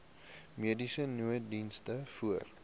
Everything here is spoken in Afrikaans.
mediese nooddiens voor